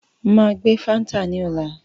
Máa gbé fáńtà ní ọ̀la